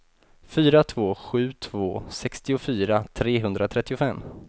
fyra två sju två sextiofyra trehundratrettiofem